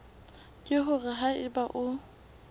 ke hore ha eba o